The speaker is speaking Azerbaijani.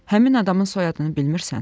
Həmin adamın soyadını bilmirsən?